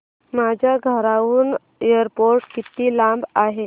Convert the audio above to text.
माझ्या घराहून एअरपोर्ट किती लांब आहे